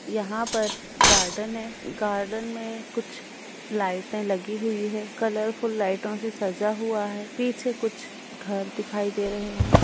यहाँ पर गार्डन है| गार्डन में कुछ लाइटें लगी हुई है कलरफुल लाइटों से सजा हुआ है| पीछे कुछ घर दिखाई दे रहें हैं।